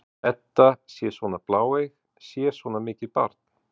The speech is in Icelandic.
Edda sé svona bláeyg, sé svona mikið barn?